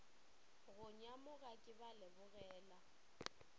go nyamoga ke ba lebogela